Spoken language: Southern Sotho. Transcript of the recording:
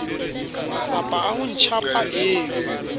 matsapa a ho ntshampa eo